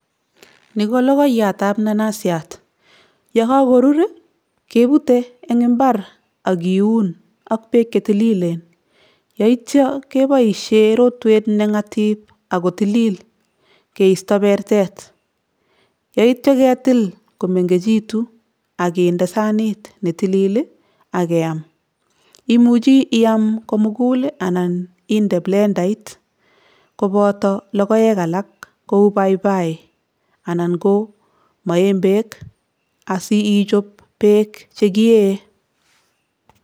Ni ko logoiyatab nanasiat, yo kakorur ii kebutei eng imbar ak kiun ak beek che tililen, yaityo keboisie rotwet ne ngatip ako tilil keisto bertet, yaityo ketil komengechitu ak kinde sanit ne tilil ii ak keam. Imuchi iam komugul ii anan inde blendait koboto logoek alak kou baibai anan ko maembek asi ichop beek che kiee.